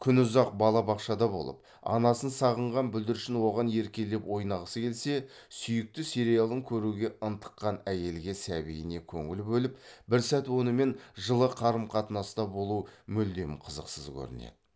күнұзақ балабақшада болып анасын сағынған бүлдіршін оған еркелеп ойнағысы келсе сүйікті сериалын көруге ынтыққан әйелге сәбиіне көңіл бөліп бір сәт онымен жылы қарым қатынаста болу мүлдем қызықсыз көрінеді